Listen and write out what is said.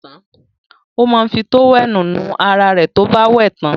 Ó máa ń fi tówẹ́lì nu ara rẹ̀ tí ó bá wẹ̀ tán.